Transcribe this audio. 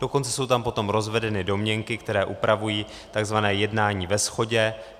Dokonce jsou tam potom rozvedeny domněnky, které upravují tzv. jednání ve shodě.